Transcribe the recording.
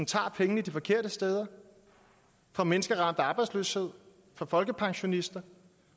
tager pengene de forkerte steder fra mennesker ramt af arbejdsløshed fra folkepensionister